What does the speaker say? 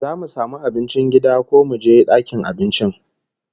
Zamu samu abincin gida ko muje dakin cin abincin?